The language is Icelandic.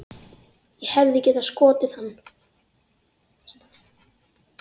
Ég hefði getað skotið hann.